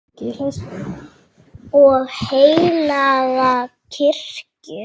og heilaga kirkju